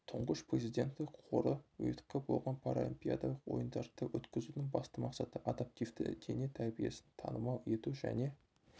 тұңғыш президенті қоры ұйытқы болған паралимпиадалық ойындарды өткізудің басты мақсаты адаптивті дене тәрбиесін танымал ету және